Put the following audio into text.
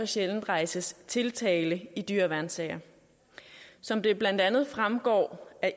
sjældent rejses tiltale i dyreværnssager som det blandt andet fremgår